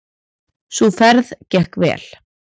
Sú ferð gekk vel.